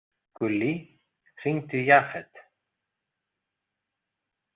Gullý, hringdu í Jafet.